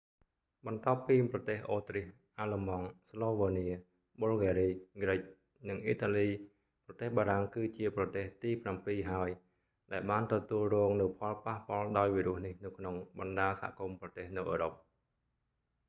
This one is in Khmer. បន្ទាប់ពីប្រទេសអូទ្រីស អាល្លឺម៉ង់ ស្លូវើនៀ ប៊ុលហ្គារី គ្រិច និងអ៊ីតាលី ប្រទេសបារាំង គឺជាប្រទេសទីប្រាំពីរ ហើយ ដែលបានទទួលរងនូវផលប៉ះពាល់ដោយវីរុសនេះនៅក្នុងបណ្តាសហគមន៍ប្រទេសនៅអឺរ៉ុប